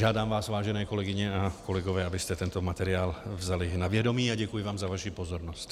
Žádám vás, vážené kolegyně a kolegové, abyste tento materiál vzali na vědomí, a děkuji vám za vaši pozornost.